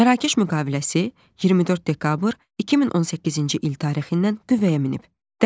Mərakeş müqaviləsi 24 dekabr 2018-ci il tarixindən qüvvəyə minib.